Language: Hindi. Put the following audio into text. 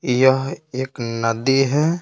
यह एक नदी है।